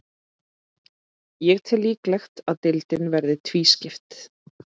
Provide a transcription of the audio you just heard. Ég tel líklegt að deildin verði tvískipt.